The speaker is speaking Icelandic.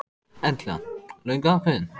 Erla: Löngu ákveðinn?